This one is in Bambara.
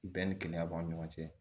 Bɛɛ ni kɛnɛya b'a ni ɲɔgɔn cɛ